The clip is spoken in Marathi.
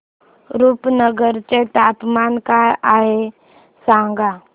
रुपनगर चे तापमान काय आहे सांगा